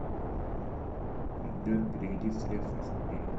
сбер переведи средства сергею